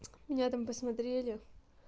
меня там посмотрели